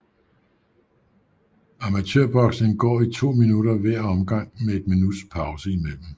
Amatørboksning går i to minutter hver omgang med et minuts pause mellem